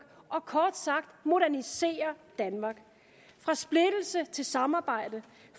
og kort sagt modernisere danmark fra splittelse til samarbejde